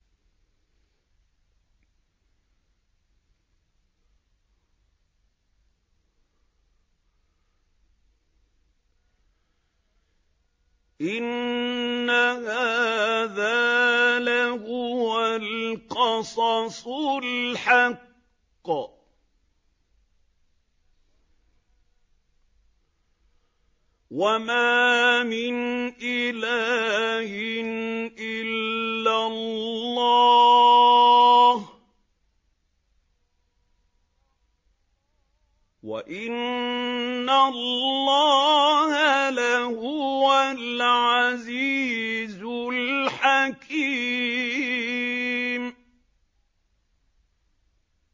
إِنَّ هَٰذَا لَهُوَ الْقَصَصُ الْحَقُّ ۚ وَمَا مِنْ إِلَٰهٍ إِلَّا اللَّهُ ۚ وَإِنَّ اللَّهَ لَهُوَ الْعَزِيزُ الْحَكِيمُ